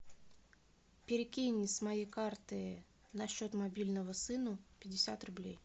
перекинь с моей карты на счет мобильного сыну пятьдесят рублей